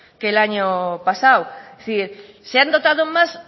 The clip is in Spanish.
que el año pasado sí se han dotado más